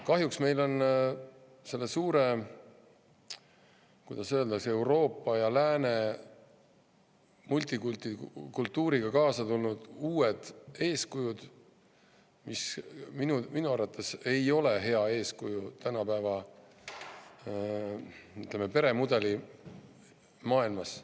Kahjuks on meil selle suure, kuidas öelda, Euroopa ja lääne multikultikultuuriga kaasa tulnud uued eeskujud, mis minu arvates ei ole head eeskujud, ütleme, tänapäevase peremudeliga maailmas.